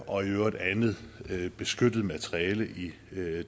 og i øvrigt andet beskyttet materiale i